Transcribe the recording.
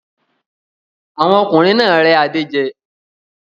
Àwọn ọkùnrin náà rẹ́ Adé jẹ